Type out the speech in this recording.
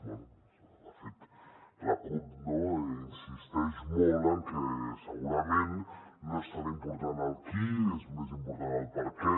bé de fet la cup no insisteix molt en que segurament no és tan important el qui és més important el perquè